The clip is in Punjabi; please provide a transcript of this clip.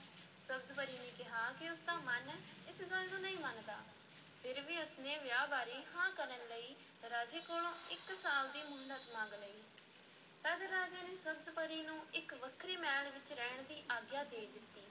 ਸਬਜ਼-ਪਰੀ ਨੇ ਕਿਹਾ ਕਿ ਉਸ ਦਾ ਮਨ ਇਸ ਗੱਲ ਨੂੰ ਨਹੀਂ ਮੰਨਦਾ, ਫਿਰ ਵੀ ਉਸ ਨੇ ਵਿਆਹ ਬਾਰੇ ਹਾਂ ਕਰਨ ਲਈ ਰਾਜੇ ਕੋਲੋਂ ਇੱਕ ਸਾਲ ਦੀ ਮੁਹਲਤ ਮੰਗ ਲਈ ਤਦ ਰਾਜੇ ਨੇ ਸਬਜ਼-ਪਰੀ ਨੂੰ ਇੱਕ ਵੱਖਰੇ ਮਹਿਲ ਵਿੱਚ ਰਹਿਣ ਦੀ ਆਗਿਆ ਦੇ ਦਿੱਤੀ,